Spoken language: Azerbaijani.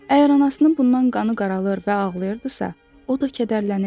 Əgər anasının bundan qanı qaralır və ağlayırdısa, o da kədərlənir.